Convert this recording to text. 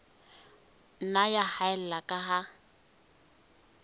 nna ya haella ka ha